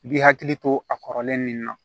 I bi hakili to a kɔrɔlen nin na